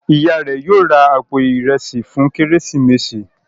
Ìyá rẹ yóò rá àpò Ìrẹsí fún Kérésìmesì.